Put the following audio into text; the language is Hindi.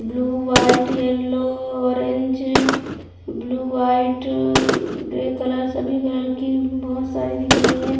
Blue white yellow orange blue white grey colour सभी कलर की बहोत सारी दिख रही हैं।